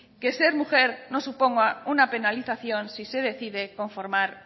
que ser mujer no suponga una penalización si se decide conformar